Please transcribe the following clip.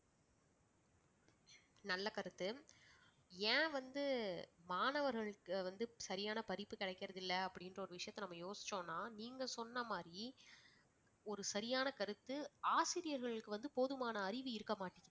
நல்ல கருத்து ஏன் வந்து மாணவர்களுக்கு வந்து சரியான படிப்பு கிடைக்கிறதில்லை அப்படின்றஒரு விஷயத்தை நாம யோசிச்சொம்னா நீங்க சொன்ன மாதிரி ஒரு சரியான கருத்து ஆசிரியர்களுக்கு வந்து போதுமான அறிவு இருக்கமாட்டேங்குது